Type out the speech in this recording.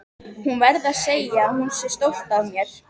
Hún verði að segja að hún sé stolt af mér.